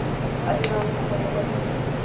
a dirang kopo ya kwadiso